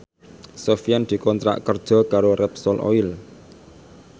Sofyan dikontrak kerja karo Repsol Oil